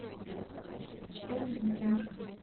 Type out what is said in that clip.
эндигма